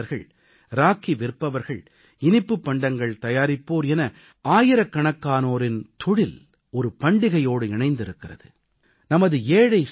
ராக்கி தயாரிப்பாளர்கள் ராக்கி விற்பவர்கள் இனிப்புப் பண்டங்கள் தயாரிப்போர் என ஆயிரக்கணக்கானோரின் தொழில் ஒரு பண்டிகையோடு இணைந்திருக்கிறது